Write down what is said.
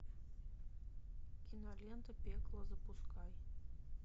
кинолента пекло запускай